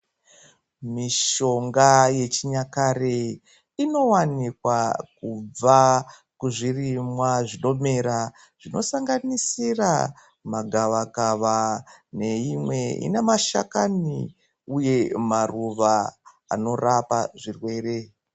Mishonga yechinyakare inowanikwa kubva kuzvirimwa zvinomera zvinosanganisira magavakava neimwe ine mashakani uye maruva anorapa zvirwere.